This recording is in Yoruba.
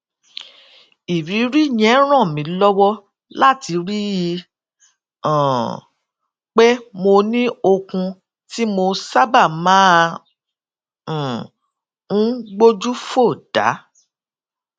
ìrírí yẹn ràn mí lówó láti rí i um pé mo ní okun tí mo sábà máa um ń gbójú fò dá